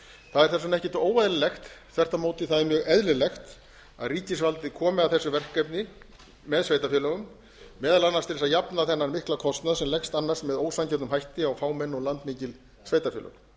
það er þess vegna ekkert óeðlilegt þvert á móti er mjög eðlilegt að ríkisvaldið komi að þess verkefni með sveitarfélögum meðal annars til að jafna þennan mikla kostnað sem leggst annars með ósanngjörnum hætti á fámenn og landmikil sveitarfélög